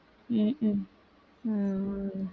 உம் hmm உம்